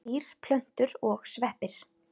Öll dýr, plöntur og sveppir.